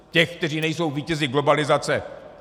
Těch, kteří nejsou vítězi globalizace.